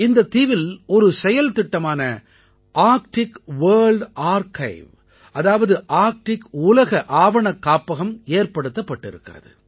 இந்தத் தீவில் ஒரு செயல்திட்டமான ஆர்க்டிக் வர்ல்ட் ஆர்க்கைவ் அதாவது ஆர்க்டிக் உலக ஆவணக்காப்பகம் ஏற்படுத்தப்பட்டிருக்கிறது